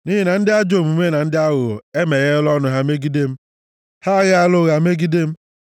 nʼihi na ndị ajọ omume na ndị aghụghọ emegheela ọnụ ha megide m; ha aghaala ụgha megide m.